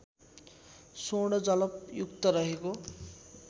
स्वर्ण जलपयुक्त रहेको